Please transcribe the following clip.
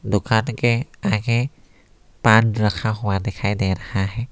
दुकान के आगे पान रखा हुआ दिखाई दे रहा है।